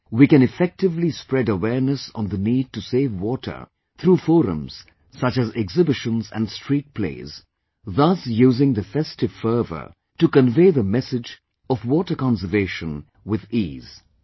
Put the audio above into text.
Here, we can effectively spread awareness on the need to save water through forums such as exhibitions and street plays, thus using the festive fervour to convey the message of water conservation with ease